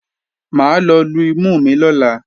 Mà á lọ lu imú mi lọ́la